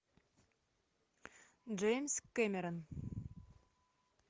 джеймс кэмерон